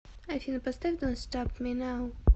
афина поставь донт стап ми нау